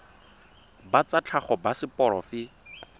ba tsa tlhago ba seporofe